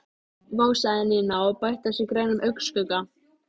Vá sagði Nína og bætti á sig grænum augnskugga.